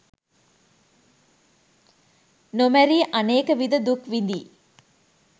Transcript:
නොමැරී අනේක විධ දුක් විඳී